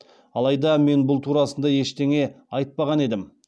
алайда мен бұл турасында ештеңе айтпаған едім